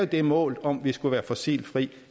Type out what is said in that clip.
det mål om at vi skulle være fossilfri